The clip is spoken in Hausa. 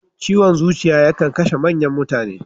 Ciwon zuciya ya kan kashe manyan mutane.